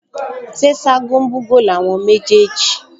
Ṣé Ṣágo ń bú'gò ni àwọn méjèèjì?